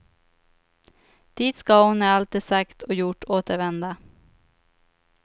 Dit ska hon när allt är sagt och gjort återvända.